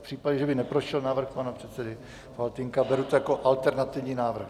V případě, že by neprošel návrh pana předsedy Faltýnka, beru to jako alternativní návrh.